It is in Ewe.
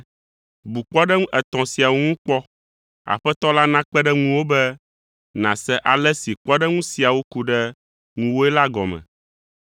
Bu kpɔɖeŋu etɔ̃ siawo ŋu kpɔ. Aƒetɔ la nakpe ɖe ŋuwò be nàse ale si kpɔɖeŋu siawo ku ɖe ŋuwòe la gɔme.